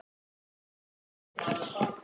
Frítt Hvers vegna?